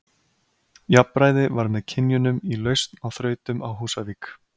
Jafnræði var með kynjunum í lausn á þrautum á Húsavík.